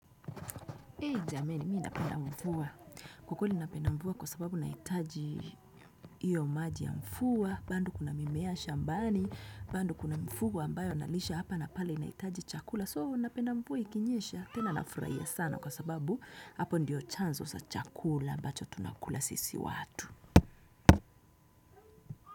Hee jameni, mimi napenda mvua. Kwakweli napenda mvua kwasababu nahitaji iyo maji ya mvua. Bandu kuna mimea shambani. Bandu kuna mvua ambayo nalisha hapa napale nahitaji chakula. So, napenda mvua ikinyesha. Tena nafurahia sana kwasababu hapo ndiyo chanzo cha chakula. Ambacho tunakula sisi watu.